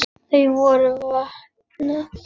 Þau voru vopnuð.